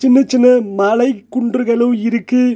சின்ன சின்ன மலை குன்றுகளு இருக்கு.